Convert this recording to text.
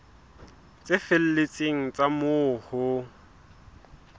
tse felletseng tsa moo ho